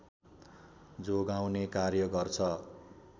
जोगाउने कार्य गर्छ